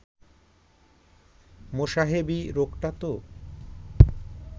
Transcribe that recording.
মোসাহেবি রোগটা তো